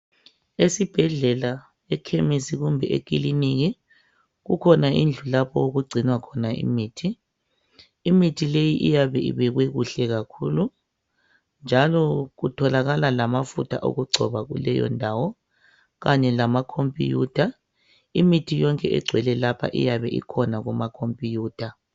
Esibhedlela, ekhemisi kumbe ekiliniki kukhona indlu lapho okugcinwa khona imithi. Imithi leyi iyabe ibekwe kuhle kakhulu njalo kutholakala lamafutha okugcoba kuleyondawo kanye lama computer. Imithi yonke egcwele lapha iyabe ikhona kuma computer.